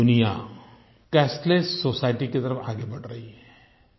पूरी दुनिया cashless society की तरफ़ आगे बढ़ रही है